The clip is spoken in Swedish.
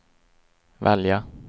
välja